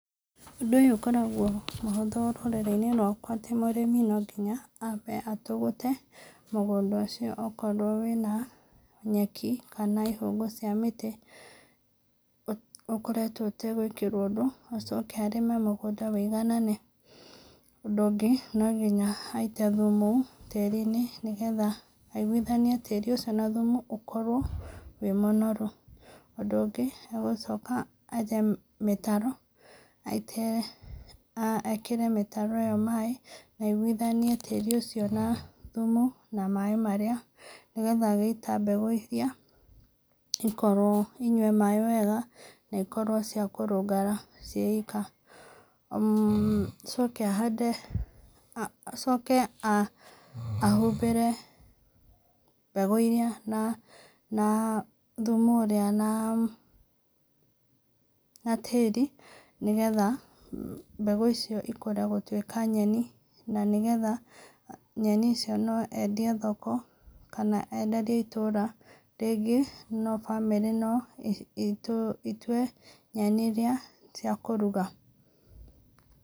Ũndũ ũyũ ũkoragwo mũhũthũ rũrĩrĩ-inĩ rwakwa atĩ mũrĩmi no nginya ambe atũgũte mũgũnda ũcio okorwo wina nyeki, kana ihũngũ cia mĩtĩ, ũkoretwo ũtagwĩkwo ũndũ acoke arĩme mũgũnda wĩiganane, ũndũ ũngĩ no nginya aite thumu tĩri-inĩ, nĩgetha aiguithanie tĩri ũcio na thumu ũkorwo wĩ mũnoru, ũndũ ũngĩ agũcoka enje mĩtaro, aitĩrĩre ekĩre mĩtaro ĩyo maaĩ, na igũithanie tĩri ũcio na thumu na maaĩ marĩa, nĩgetha agĩita mbegũ icio ikorwo, inyue maaĩ wega na ikorwo cia kũrũngara ciĩ ika, mmh acoke ahande, acoke ahumbĩre mbegũ iria na na thumu ũrĩa na na tĩri nĩgetha mbegũ icio ikũre gũtwika nyeni, na nĩgetha nyeni icio no endie thoko, kana enderie itũra, rĩngĩ no bamĩrĩ no itũe nyeni iria cia kũruga.